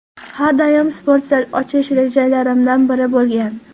Har doim sport zal ochish rejalarimdan biri bo‘lgan.